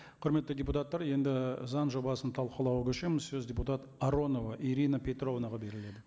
құрметті депутаттар енді заң жобасын талқылауға көшеміз сөз депутат аронова ирина петровнаға беріледі